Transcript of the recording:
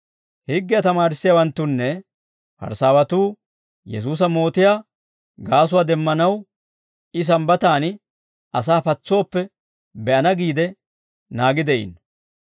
Higgiyaa tamaarissiyaawanttunne Parisaawatuu Yesuusa mootiyaa gaasuwaa demmanaw I sambbataan asaa patsooppe be'ana giide naagi de'iino.